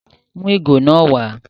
Mú ìgò náà wàá